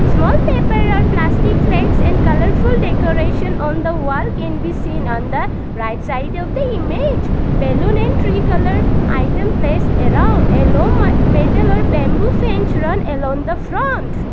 small paper or plastic flags and colourful decoration on the wall can be seen on the right side of the image balloon and three colour item place around a low ma metal or bamboo fence run along the front.